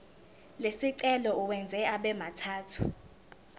lesicelo uwenze abemathathu